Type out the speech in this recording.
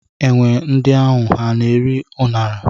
Enwe ndị ahụ ha na-eri a ṅara?